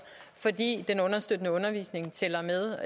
fordi den understøttende undervisning tæller med